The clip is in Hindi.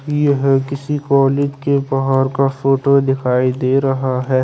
यह किसी कोनित के बाहर का फोटो दिखाई दे रहा है।